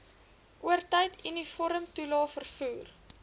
oortyd uniformtoelae vervoer